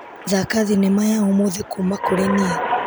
Thaka thinema ya ũmũthĩ kuma kurĩ niĩ.